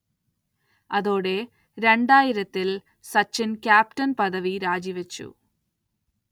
അതോടെ, രണ്ടായിരംത്തിൽ സച്ചിൻ ക്യാപ്റ്റൻ പദവി രാജിവച്ചു.